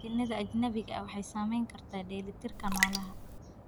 Shinnida ajnabiga ah waxay saameyn kartaa dheelitirka noolaha.